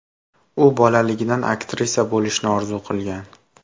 U bolaligidan aktrisa bo‘lishni orzu qilgan.